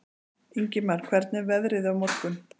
Ingimar, hvernig er veðrið á morgun?